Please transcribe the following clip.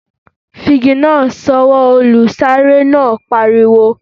Fi igi náà sọwọ́! Olùsáré náà pariwo.